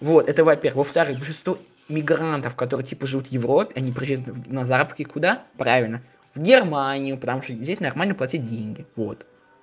вот это во-первых во-вторых большинство мигрантов который типа живут в европе они приезжают на заработки куда правильно в германию потому что здесь нормально платят деньги вот